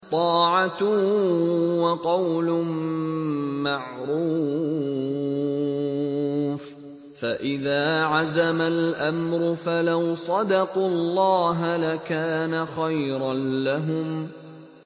طَاعَةٌ وَقَوْلٌ مَّعْرُوفٌ ۚ فَإِذَا عَزَمَ الْأَمْرُ فَلَوْ صَدَقُوا اللَّهَ لَكَانَ خَيْرًا لَّهُمْ